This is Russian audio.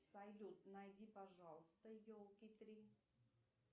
салют найди пожалуйста елки три